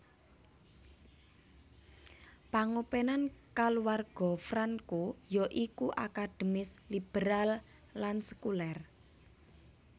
Pangopenan kaluwarga Franco ya iku akademis liberal lan sekuler